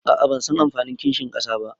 aa bansan anfanin kinshin kasa ba